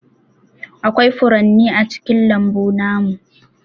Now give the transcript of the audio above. Aƙwai furanni a cikin lambu namu.